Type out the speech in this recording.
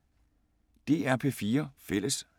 DR P4 Fælles